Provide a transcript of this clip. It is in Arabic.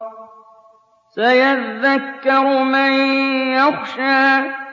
سَيَذَّكَّرُ مَن يَخْشَىٰ